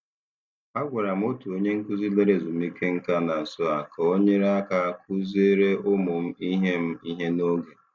Agwara m otu onye nkuzi lara ezumike nka na nso a ka ọ nyere aka kụziere ụmụ m ihe m ihe n'oge.